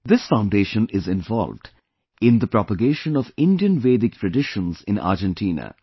This foundation is involved in the propagation of Indian Vedic traditions in Argentina